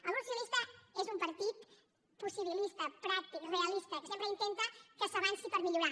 el grup socialista és un partit possibilista pràctic realista que sempre intenta que s’avanci per millorar